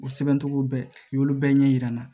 O sɛbɛncogo bɛɛ n'olu bɛɛ ɲɛ yir'an na